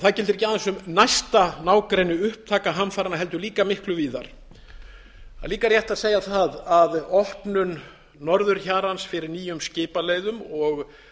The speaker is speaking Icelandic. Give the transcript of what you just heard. það gildir ekki aðeins um næsta nágrenni upptaka hamfaranna heldur líka miklu víðar það er líka rétt að segja það að opnun norðurhjarans fyrir nýjum skipaleiðum og